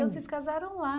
vocês casaram lá.